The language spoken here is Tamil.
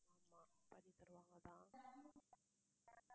ஆமா பண்ணித்தருவாங்க தான்